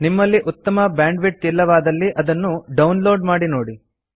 ನಿಮ್ಮಲ್ಲಿ ಉತ್ತಮ ಬ್ಯಾಂಡ್ವಿಡ್ತ್ ಇಲ್ಲವಾದಲ್ಲಿ ಇದನ್ನು ಡೌನ್ ಲೋಡ್ ಮಾಡಿ ನೋಡಿ